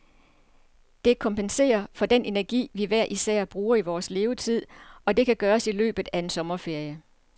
Det kompenserer for den energi, vi hver især bruger i vores levetid, og det kan gøres i løbet af en sommerferie.